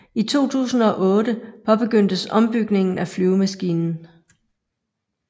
I 2008 påbegyndtes ombygningen af flyvemaskinen